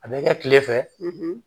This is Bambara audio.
A bɛ kɛ kile fɛ